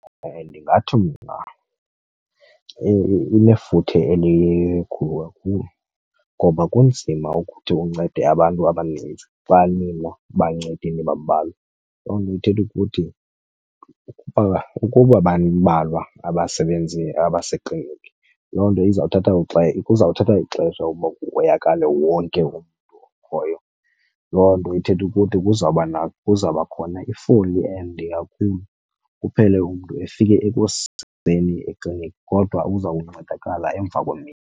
Ndingathi mna inefuthe elikhulu kakhulu ngoba kunzima ukuthi uncede abantu abaninzi xa nina bancedi nibambalwa. Loo nto ithetha ukuthi ukuba bambalwa abasebenzi abasekliniki loo nto izawuthatha , kuzawuthatha ixesha ukuba kuhoyakale wonke umntu okhoyo. Loo nto ithetha ukuthi kuzawuba , kuzawuba khona ifoli ende kakhulu kuphele umntu efike ekuseni ekliniki kodwa uzawuncedakala emva kwemini.